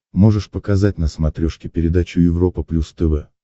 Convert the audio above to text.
можешь показать на смотрешке передачу европа плюс тв